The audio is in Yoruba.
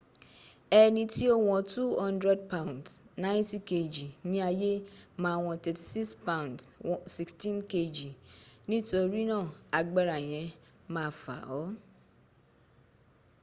ẹni tí ó wọn 200 pounds 90kg ní ayé ma wọn 36 pounds 16kg. nítorínà agbára yẹn ma fà ọ́